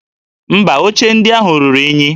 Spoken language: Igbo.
Mba, oche ndị ahụ ruru unyi